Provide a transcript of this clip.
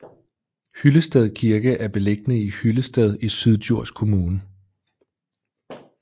Hyllested Kirke er beliggende i Hyllested i Syddjurs Kommune